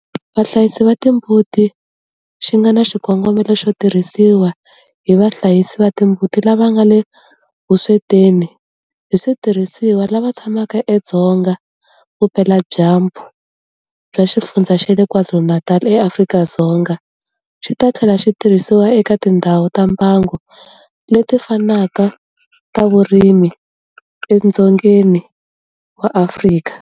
Vahlayisi va timbuti xi nga na xikongomelo xo tirhisiwa hi vahlayisi va timbuti lava nga le vuswetini hi switirhisiwa lava tshamaka edzonga vupeladyambu bya Xifundzha xa KwaZulu-Natal eAfrika-Dzonga, xi ta tlhela xi tirhisiwa eka tindhawu ta mbango leti fanaka ta vurimi edzongeni wa Afrika.